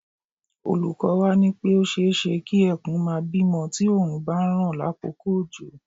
Olúko̩ wa ní pé ó s̩e é s̩e kí e̩kùn máa bímo̩ tí òòrùn bá ń ràn lákòókò òjò